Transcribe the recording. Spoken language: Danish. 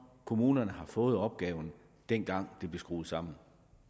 kommunerne har fået opgaven dengang det blev skruet sammen